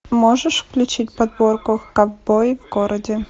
можешь включить подборку ковбои в городе